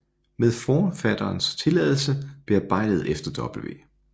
Med Forfatterens Tilladelse bearbejdet efter W